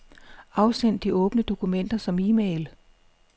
Afsend de åbne dokumenter som e-mail.